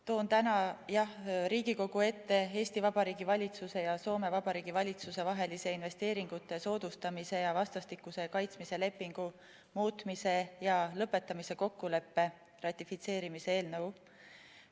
Toon täna Riigikogu ette Eesti Vabariigi valitsuse ja Soome Vabariigi valitsuse vahelise investeeringute soodustamise ja kaitsmise lepingu muutmise ja lõpetamise kokkuleppe ratifitseerimise seaduse eelnõu.